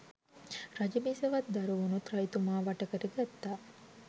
රජබිසවත් දරුවනුත් රජතුමා වටකරගත්තා.